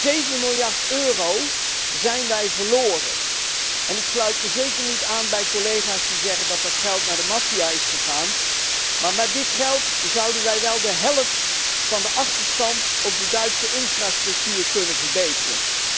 Zeven miljard euro hebben wij verloren en ik sluit mij zeker niet aan bij collega's die zeggen dat dat geld naar de maffia is gegaan, maar met dit geld zouden wij wel de helft van de achterstand op de Duitse infrastructuur kunnen verbeteren.